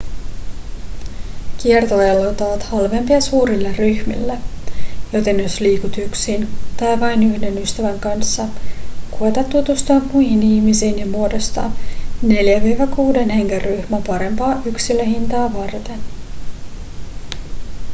kiertoajelut ovat halvempia suurille ryhmille joten jos liikut yksin tai vain yhden ystävän kanssa koeta tutustua muihin ihmisiin ja muodostaa 4-6 hengen ryhmä parempaa yksilöhintaa varten